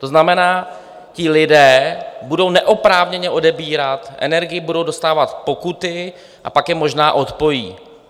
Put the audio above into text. To znamená, ti lidé budou neoprávněně odebírat energii, budou dostávat pokuty a pak je možná odpojí.